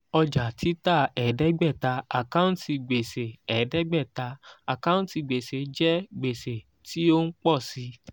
ọjà-títà ẹ̀ẹ́dégbẹ̀ta àkáǹtì gbèsè ẹ̀ẹ́dẹ́gbẹ̀ta àkáǹtì gbèsè jẹ́ gbèsè tí ó ń pọ̀ sí í.